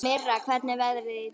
Mirra, hvernig er veðrið í dag?